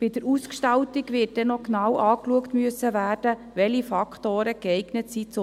Bei der Ausgestaltung wird man dann noch genau anschauen müssen, welche Faktoren zum Messen geeignet sind.